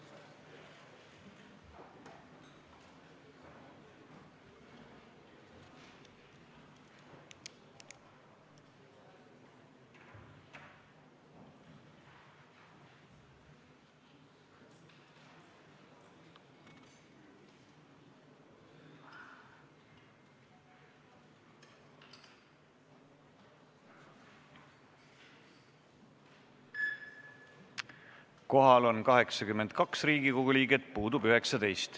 Kohaloleku kontroll Kohal on 82 Riigikogu liiget, puudub 19.